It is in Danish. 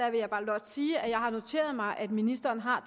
jeg blot sige at jeg har noteret mig at ministeren har